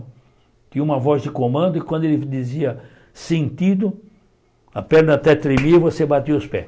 Tinha uma voz de comando e quando ele dizia sentido, a perna até tremia e você batia os pés.